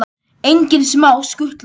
Engin smá skutla!